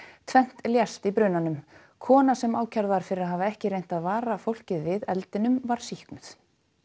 tvennt lést í brunanum kona sem ákærð var fyrir að hafa ekki reynt að vara fólkið við eldinum var sýknuð